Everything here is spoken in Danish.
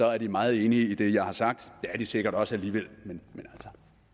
er de meget enige i det jeg har sagt det er de sikkert også alligevel men